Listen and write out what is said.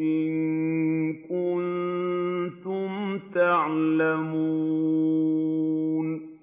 إِن كُنتُمْ تَعْلَمُونَ